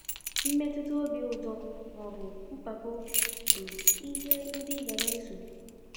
Mmetuta obi ụtọ maọbụ mpako bụ ihe ndị i ga-eso...